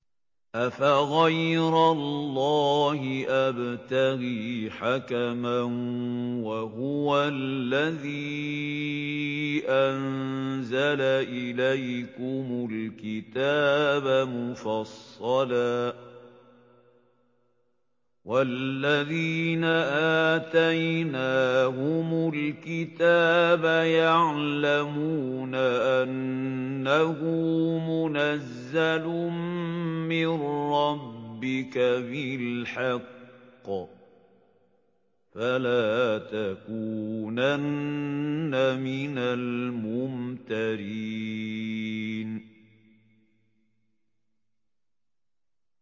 أَفَغَيْرَ اللَّهِ أَبْتَغِي حَكَمًا وَهُوَ الَّذِي أَنزَلَ إِلَيْكُمُ الْكِتَابَ مُفَصَّلًا ۚ وَالَّذِينَ آتَيْنَاهُمُ الْكِتَابَ يَعْلَمُونَ أَنَّهُ مُنَزَّلٌ مِّن رَّبِّكَ بِالْحَقِّ ۖ فَلَا تَكُونَنَّ مِنَ الْمُمْتَرِينَ